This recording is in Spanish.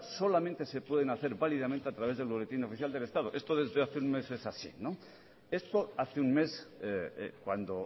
solamente se pueden hacer válidamente a través del boletín oficial del estado esto desde hace un mes es así esto hace un mes cuando